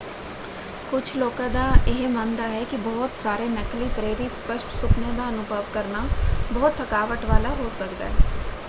ਕੁਝ ਲੋਕਾਂ ਦਾ ਇਹ ਮੰਨਦਾ ਹੈ ਕਿ ਬਹੁਤ ਸਾਰੇ ਨਕਲੀ ਪ੍ਰੇਰਿਤ ਸਪੱਸ਼ਟ ਸੁਪਨਿਆਂ ਦਾ ਅਨੁਭਵ ਕਰਨਾ ਬਹੁਤ ਥਕਾਵਟ ਵਾਲਾ ਹੋ ਸਕਦਾ ਹੈ।